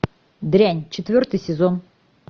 дрянь четвертый сезон